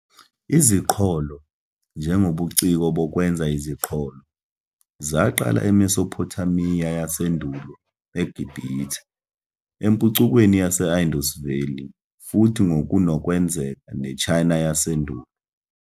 Iziqholo, njengobuciko bokwenza iziqholo, zaqala eMesophothamiya yasendulo, eGibhithe, empucukweni yase-Indus Valley futhi ngokunokwenzeka neChina Yasendulo.